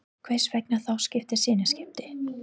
Hvers vegna þá þessi sinnaskipti?